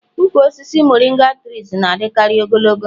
ụkwụ osisi moringa tress na-adịkarị ogologo